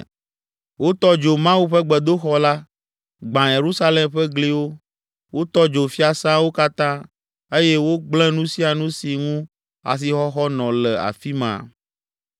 Wotɔ dzo Mawu ƒe gbedoxɔ la, gbã Yerusalem ƒe gliwo, wotɔ dzo fiasãwo katã eye wogblẽ nu sia nu si ŋu asixɔxɔ nɔ le afi ma.